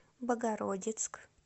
богородицк